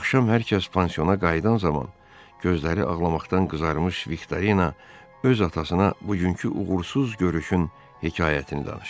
Axşam hər kəs pansiyonana qayıdan zaman gözləri ağlamaqdan qızarmış Viktorina öz atasına bugünkü uğursuz görüşün hekayətini danışırdı.